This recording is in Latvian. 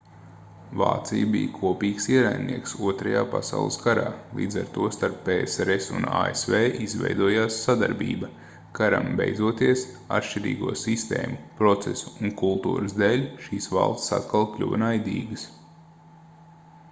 vācija bija kopīgs ienaidnieks 2. pasaules karā līdz ar to starp psrs un asv izveidojās sadarbība karam beidzoties atšķirīgo sistēmu procesu un kultūras dēļ šīs valstis atkal kļuva naidīgas